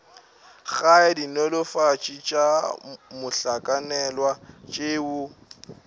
gae dinolofatši tša mohlakanelwa tšeo